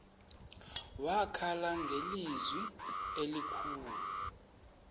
wakhala ngelizwi elikhulu